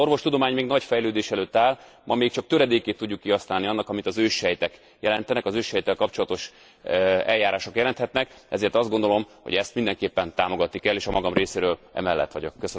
Az orvostudomány még nagy fejlődés előtt áll, ma még csak töredékét tudjuk kihasználni annak, amit az őssejtek jelentenek, az őssejttel kapcsolatos eljárások jelenthetnek, ezért azt gondolom, hogy ezt mindenképpen támogatni kell, és a magam részéről emellett vagyok.